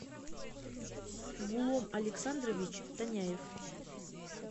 гулом александрович тоняев